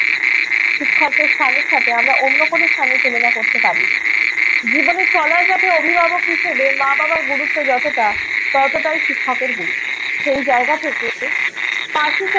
শিক্ষকদের স্থানের সাথে আমরা অন্য কোনো স্থানের তুলনা করতে পারি না। জীবনে চলার পথে অভিভাবক হিসেবে মা-বাবার গুরুত্ব যতোটা ততোটাই শিক্ষকের গুরুত্ব।